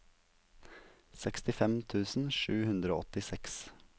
sekstifem tusen sju hundre og åttiseks